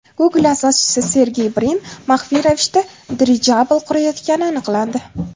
Google asoschisi Sergey Brin maxfiy ravishda dirijabl qurayotgani aniqlandi.